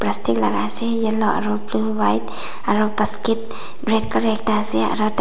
plastic laka ase yellow aro blue white aro basket red colour ekta ase aro tat--